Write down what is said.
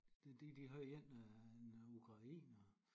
De de de har en øh en ukrainer